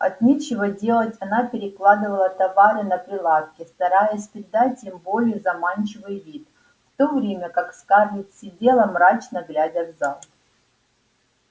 от нечего делать она перекладывала товары на прилавке стараясь придать им более заманчивый вид в то время как скарлетт сидела мрачно глядя в зал